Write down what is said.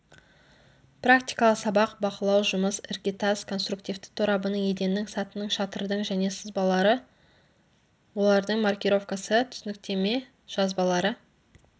практикалық сабақ бақылау жұмыс іргетас конструктивті торабының еденнің сатының шатырдың және сызбалары олардың маркировкасы түсініктеме жазбалары